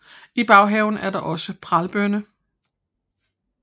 I baghaven er der også er pralbønner